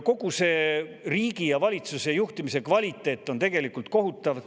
Kogu see riigi ja valitsuse juhtimise kvaliteet on tegelikult kohutav.